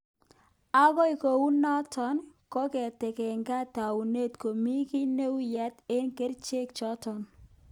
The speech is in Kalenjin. Angot kou noto, kong'etegei taunet ko mi gii neunyat eng kericheek chotok